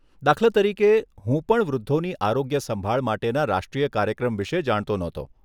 દાખલા તરીકે, હું પણ વૃદ્ધોની આરોગ્ય સંભાળ માટેના રાષ્ટ્રીય કાર્યક્રમ વિશે જાણતો ન હતો.